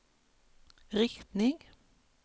riktning